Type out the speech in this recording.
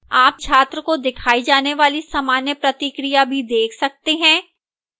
आप छात्र को दिखाई जाने वाली सामान्य प्रतिक्रिया भी देख सकते हैं